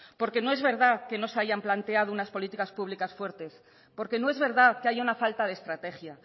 porque no es verdad que no se hayan planteado unas políticas públicas fuertes porque no es verdad que haya una falta de estrategia